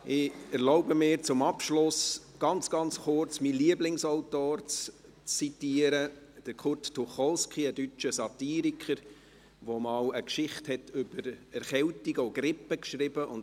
Ich erlaube mir, zum Abschluss ganz, ganz kurz meinen Lieblingsautor zu zitieren, Kurt Tucholsky, einen deutscher Satiriker, der einmal eine Geschichte über Erkältungen und Grippe geschrieben hat.